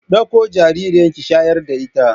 Ɗakko jaririyar ki shayar da ita